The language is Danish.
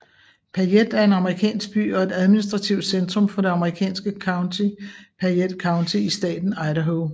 Payette er en amerikansk by og administrativt centrum for det amerikanske county Payette County i staten Idaho